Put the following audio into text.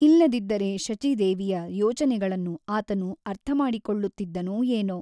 ಇಲ್ಲದಿದ್ದರೆ ಶಚೀದೇವಿಯ ಯೋಚನೆಗಳನ್ನು ಆತನು ಅರ್ಥಮಾಡಿಕೊಳ್ಳುತ್ತಿದ್ದನೋ ಏನೋ?